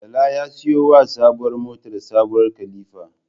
Bala ya siyo wa sabuwar motar sabuwar kilifa